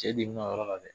Cɛ de bi n ka yɔrɔ la dɛ